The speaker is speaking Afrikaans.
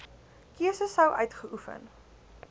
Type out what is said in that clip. keuse sou uitgeoefen